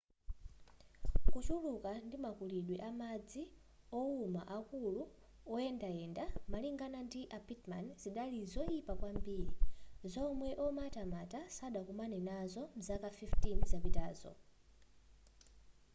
kuchuluka ndi makulidwe amadzi owuma akulu oyendayenda malingana ndi a pittman zidali zoyipa kwambiri zomwe omatamata sadakomane nazopo mzaka 15 zapitazo